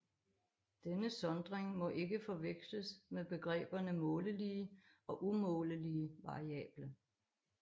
Denne sondring må ikke forveksles med begreberne målelige og umålelige variable